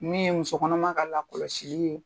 Min ye muso kɔnɔma ka lakɔlɔsili ye,